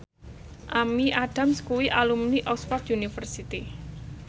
Amy Adams kuwi alumni Oxford university